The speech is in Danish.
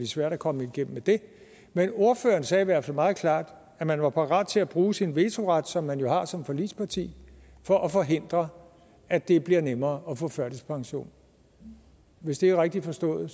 svært at komme igennem med men ordføreren sagde i hvert fald meget klart at man var parat til at bruge sin vetoret som man jo har som forligsparti for at forhindre at det bliver nemmere at få førtidspension hvis det er rigtigt forstået